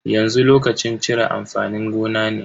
Yanzu lokacin cire amfanin gona ne.